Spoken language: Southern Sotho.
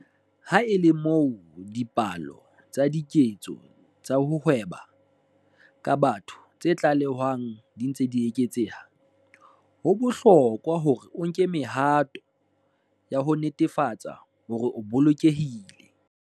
Ha e le moo dipalo tsa diketso tsa ho hweba ka batho tse tlalehwang di ntse di eketseha, ho bohlokwa hore o nke mehato ya ho netefatsa hore o bolokehile.